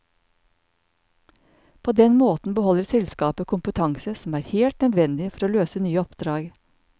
På den måten beholder selskapet kompetanse som er helt nødvendig for å løse nye oppdrag.